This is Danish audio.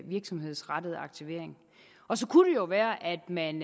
virksomhedsrettet aktivering og så kunne det jo være at man